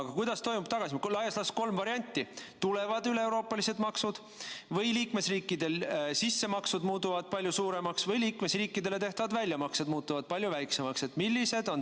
Aga kuidas toimub tagasimaksmine, kui on laias laastus kolm varianti: kas tulevad üleeuroopalised maksud või liikmesriikide sissemakstud summad muutuvad palju suuremaks või liikmesriikidele tehtavad väljamaksed muutuvad palju väiksemaks?